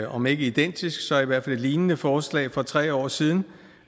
om ikke identisk så i hvert fald lignende forslag for tre år siden